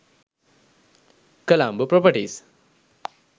colombo properties